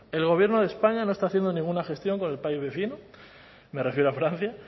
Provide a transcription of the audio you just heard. el gobierno de españa no está haciendo ninguna gestión con el país vecino me refiero a francia